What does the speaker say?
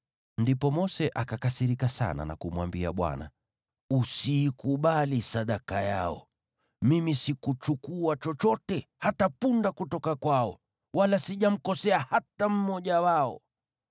Ndipo Mose akakasirika sana na kumwambia Bwana , “Usiikubali sadaka yao. Mimi sikuchukua chochote, hata punda kutoka kwao, wala sijamkosea hata mmoja wao.”